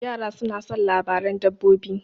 Yara soma son labaran dabbobi.